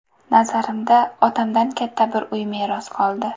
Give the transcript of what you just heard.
Nazarimda, otamdan katta bir uy meros qoldi.